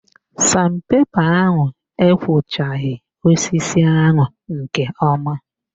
San pepa ahụ ekwochaghị osisi ahụ nke ọma